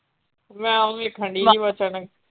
ਮੈਂ ਉਹ ਵੇਖਣ ਡਈ ਸੀ .